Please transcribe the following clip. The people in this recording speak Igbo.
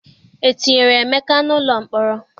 E tinyere Emeka n'ụlọ mkpọrọ?